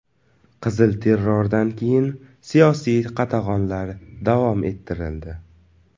Qizil terrordan keyin siyosiy qatag‘onlar davom ettirildi.